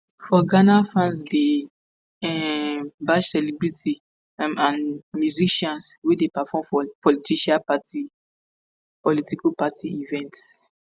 for ghana fans dey um bash celebrities um and musicians wey dey perform for political party political party events.